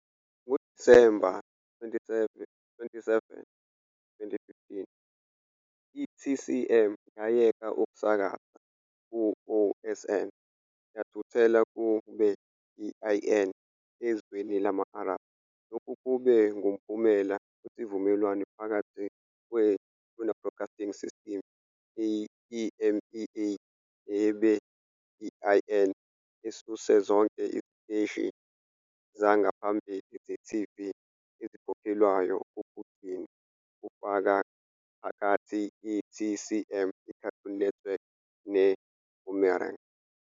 NgoDisemba 27, 2015, i-TCM yayeka ukusakaza ku-OSN yathuthela ku- beIN ezweni lama-Arabhu. Lokhu kube ngumphumela wesivumelwano phakathi kwe-Turner Broadcasting System EMEA ne-beIN esuse zonke iziteshi zangaphambili ze-TV ezikhokhelwayo kokugcina, kufaka phakathi i-TCM, iCartoon Network, neBoomerang.